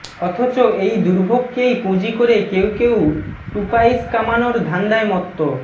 অথচ এই দুর্ভোগকেই পুঁজি করে কেউ কেউ টুপাইস কামানোর ধান্ধায় মত্ত